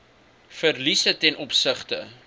verliese ten opsigte